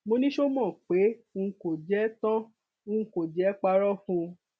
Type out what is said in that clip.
mo ní ṣo mọ pé n kò jẹ tán n kò jẹ parọ fún un